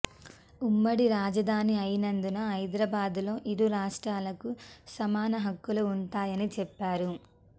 ఉమ్మడి రాజధాని అయినందున హైదరాబాదులో ఇరు రాష్ట్రాలకు సమాన హక్కులు ఉంటాయని చెప్పారు